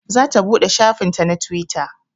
Za ta buɗe shafin ta na twitter